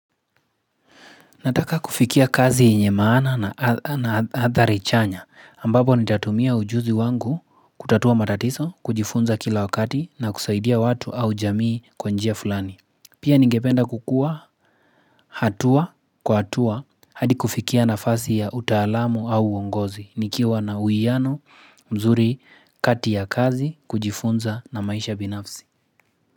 Nataka kufikia kazi yenye maana na hatharichanya ambapo nitatumia ujuzi wangu kutatua matatizo, kujifunza kila wakati na kusaidia watu au jamii kwanjia fulani. Pia ningependa kukua hatua kwa hatua hadi kufikia na fasi ya utaalamu au uongozi nikiwa na uiano mzuri kati ya kazi kujifunza na maisha binafsi.